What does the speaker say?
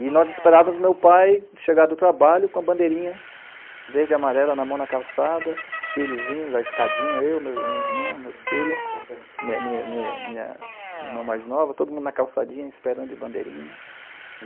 E nós esperávamos o meu pai chegar do trabalho com a bandeirinha verde e amarela na mão, na calçada, os filhozinhos, a escadinha, eu, minha irmã, meu filho, minha, minha, minha, minha irmã mais nova, todo mundo na calçadinha, esperando de bandeirinha.